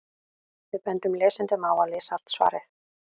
Við bendum lesendum á að lesa allt svarið.